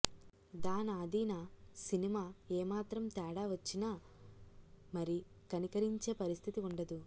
దానాదీనా cinema ఏ మాత్రం తేడా వచ్చినా మరి కనికరించే పరిస్థితి వుండదు